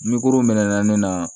Ni kurun mɛn na ne na